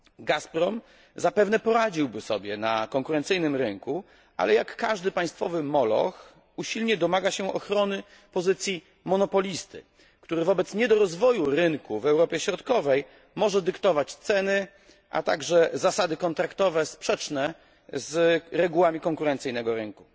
Gasprom zapewne poradziłby sobie na konkurencyjnym rynku, ale jak każdy państwowy moloch, usilnie domaga się ochrony pozycji monopolisty, który wobec niedorozwoju rynku w Europie Środkowej może dyktować ceny, a także zasady kontraktowe sprzeczne z regułami konkurencyjnego rynku.